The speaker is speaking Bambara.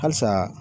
Halisa